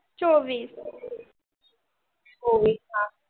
चोवीस